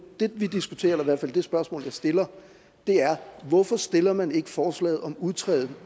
det vi diskuterer eller i hvert fald det spørgsmål jeg stiller er hvorfor stiller man ikke et forslag om at udtræde